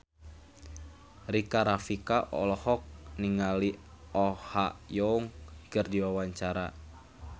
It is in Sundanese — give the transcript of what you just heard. Rika Rafika olohok ningali Oh Ha Young keur diwawancara